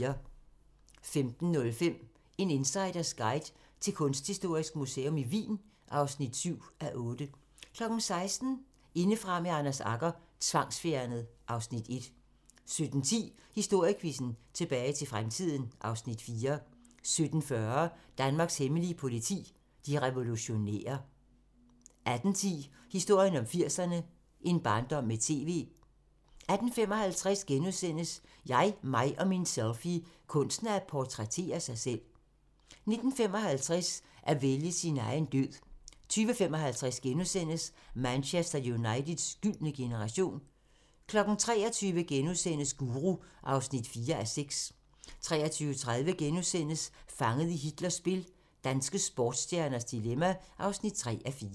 15:05: En insiders guide til Kunsthistorisk Museum Wien (7:8) 16:00: Indefra med Anders Agger – Tvangsfjernet (Afs. 1) 17:10: Historiequizzen: Tilbage til fremtiden (Afs. 4) 17:40: Danmarks Hemmelige politi: De revolutionære 18:10: Historien om 80'erne: En barndom med TV 18:55: Jeg, mig og min selfie – Kunsten at portrættere sig selv * 19:55: At vælge sin egen død 20:55: Manchester Uniteds gyldne generation * 23:00: Guru (4:6)* 23:30: Fanget i Hitlers spil - danske sportsstjernes dilemma (3:4)*